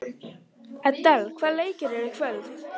Edel, hvaða leikir eru í kvöld?